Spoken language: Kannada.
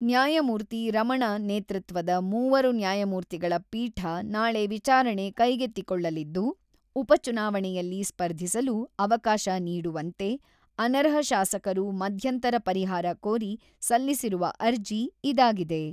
ನ್ಯಾಯಮೂರ್ತಿ ರಮಣ ನೇತೃತ್ವದ ಮೂವರು ನ್ಯಾಯಮೂರ್ತಿಗಳ ಪೀಠ ನಾಳೆ ವಿಚಾರಣೆ ಕೈಗೆತ್ತಿಕೊಳ್ಳಲಿದ್ದು, ಉಪ ಚುನಾವಣೆಯಲ್ಲಿ ಸ್ಪರ್ಧಿಸಲು ಅವಕಾಶ ನೀಡುವಂತೆ, ಅನರ್ಹ ಶಾಸಕರು ಮಧ್ಯಂತರ ಪರಿಹಾರ ಕೋರಿ ಸಲ್ಲಿಸಿರುವ ಅರ್ಜಿ ಇದಾಗಿದೆ.